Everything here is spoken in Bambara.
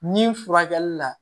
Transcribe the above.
Ni furakɛli la